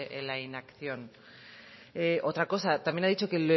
en la inacción otra cosa también ha dicho que